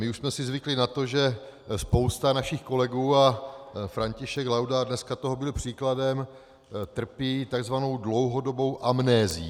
My už jsme si zvykli na to, že spousta našich kolegů, a František Laudát dneska toho byl příkladem, trpí takzvanou dlouhodobou amnézií.